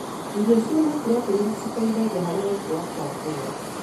Irio cina proteini citeithagia harĩ gũkũra kwa ngũrũwe.